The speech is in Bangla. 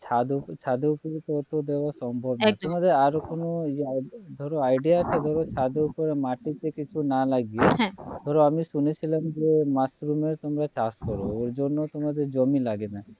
ছাদের ওপর ছাদের ওপরে তো এতো দেয়া সম্ভব নয় একদম তোমাদের আর কোনো ধরো idea আছে ধরো ছাদের ওপর মাটিতে কিছু না লাগিয়ে হ্যাঁ ধরো আমরা শুনে ছিলাম যে মাশরুম এর তোমরা চাষ করো ওর জন্য তোমাদের জমি লাগে না